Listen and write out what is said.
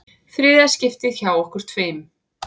Þriðja skiptið hjá okkur tveim.